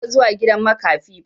Ban taɓa zuwa gidan makafi ba.